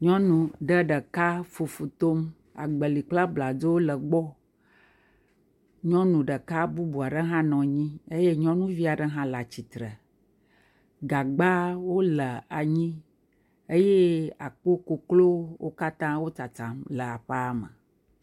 Nyɔnu ɖe ɖeka fufu tom, agbeli kple abladzo le egbɔ. Nyɔnu ɖeka bubu aɖe hã nɔ anyi eye nyɔnuvi aɖe hã e atsitre, gagbawo le anyi eƒe aƒe koklo wom katã tsatsam le aƒea me.